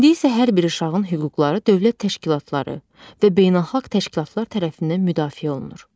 İndi isə hər bir uşağın hüquqları dövlət təşkilatları və beynəlxalq təşkilatlar tərəfindən müdafiə olunur."